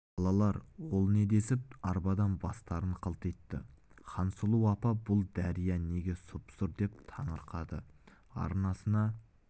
балалар ол не десіп арбадан бастарын қылтитты хансұлу апа бұл дария неге сұп-сұр деп таңырқады арнасына